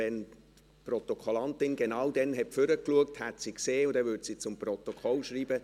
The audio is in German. Wenn die Protokollantin genau dann nach vorne geschaut hat, hat sie es gesehen und würde es im Protokoll so schreiben: